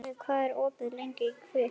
Gunnleif, hvað er opið lengi í Kvikk?